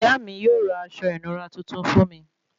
Ìyá mí yóò ra aṣọ ìnura tuntun fún mí